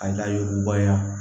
An ka yuguba